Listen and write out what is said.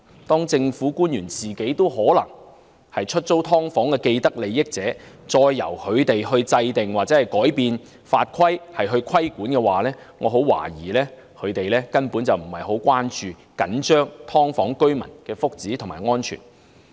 當政府官員本身可能是出租"劏房"的既得利益者，由他們制訂或改變法規進行規管，我很懷疑他們根本不會關注或着緊"劏房"居民的福祉和安全。